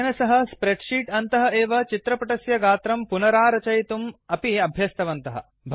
तेन सह स्प्रेड्शीट् अन्तः एव चित्रपटस्य गात्रं पुनरारचयितुमपि अभ्यासं कृतवन्तः